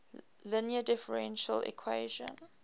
linear differential equation